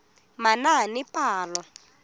manaanepalo